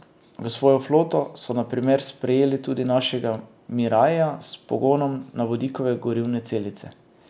V svojo floto so na primer sprejeli tudi našega miraia s pogonom na vodikove gorivne celice.